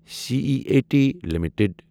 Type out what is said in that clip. C E A T limited